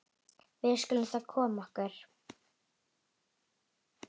Við skulum þá koma okkur.